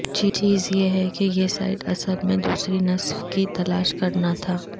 چیز یہ ہے کہ یہ سائٹ اصل میں دوسری نصف کی تلاش کرنا تھا